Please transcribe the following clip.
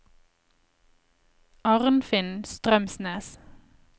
Arnfinn Strømsnes